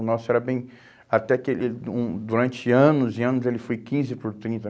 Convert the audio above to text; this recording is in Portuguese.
O nosso era bem... até que ele ele hum durante anos e anos ele foi quinze por trinta